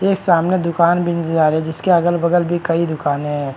एक सामने दुकान भी नजर आ रही है जिसके अगल बगल भी कई दुकानें है।